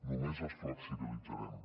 només les flexibilitzarem